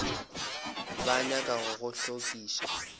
ba nyaka go go hlokiša